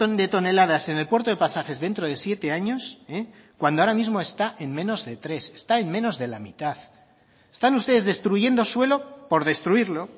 de toneladas en el puerto de pasajes dentro de siete años cuando ahora mismo está en menos de tres está en menos de la mitad están ustedes destruyendo suelo por destruirlo